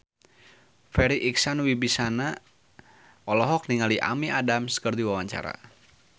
Farri Icksan Wibisana olohok ningali Amy Adams keur diwawancara